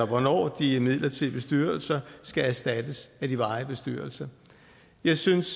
hvornår de midlertidige bestyrelser skal erstattes af de varige bestyrelser jeg synes